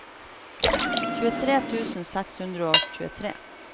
tjuetre tusen seks hundre og tjuetre